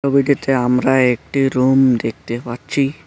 ছবিটিতে আমরা একটি রুম দেখতে পাচ্ছি।